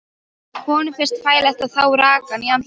Honum finnst þægilegt að fá rakann í andlitið.